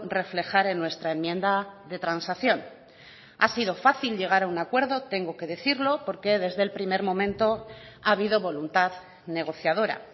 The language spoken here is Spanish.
reflejar en nuestra enmienda de transacción ha sido fácil llegar a un acuerdo tengo que decirlo porque desde el primer momento ha habido voluntad negociadora